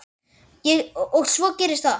Og svo gerist þetta.